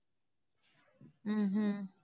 ஹம் உம்